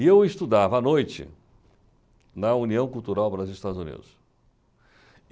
E eu estudava à noite na União Cultural Brasil-Estados Unidos.